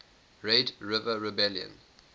red river rebellion